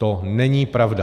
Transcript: To není pravda.